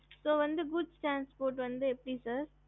ஹம்